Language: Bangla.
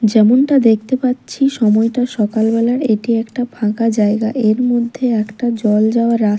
যেমনটা দেখতে পাচ্ছি সময়টা সকালবেলার এটি একটা ফাঁকা জায়গা এর মধ্যে একটা জল যাওয়ার রা--